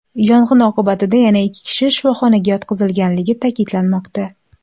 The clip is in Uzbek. Yong‘in oqibatida yana ikki kishi shifoxonaga yotqizilganligi ta’kidlanmoqda.